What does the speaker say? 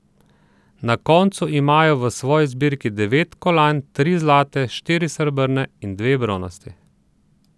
Na koncu imajo v svoji zbirki devet kolajn, tri zlate, štiri srebrne in dve bronasti.